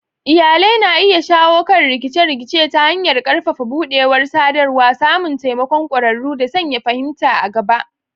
Iyalai na iya shawo kan rikice-rikice ta hanyar ƙarfafa buɗewar sadarwa, samun taimakon ƙwararru, da sanya fahimta a gaba.